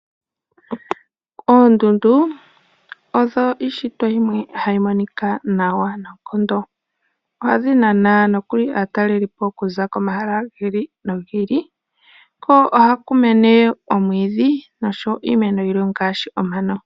Oondundu odho ishitwa yimwe hayi monika nawa noonkondo. Ohadhi nana nokuli aatalelipo oku za komahala giili nogiili. Ko ohaku mene omwiidhi noshowo iimeno yilwe ngaashi omano.